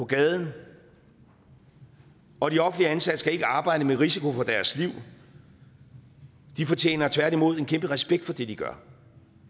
gaden og de offentligt ansatte skal ikke arbejde med risiko for deres liv de fortjener tværtimod en kæmpe respekt for det de gør